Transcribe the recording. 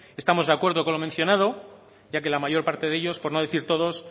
estamos de acuerdo con lo mencionado ya que la mayor parte de ellos por no decir todos